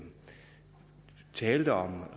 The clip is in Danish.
talte om